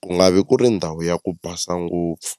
ku nga vi ku ri ndhawu ya ku basa ngopfu.